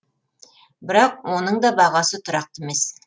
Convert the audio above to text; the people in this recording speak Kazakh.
бірақ оның да бағасы тұрақты емес